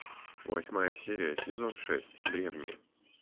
восьмая серия сезон шесть древние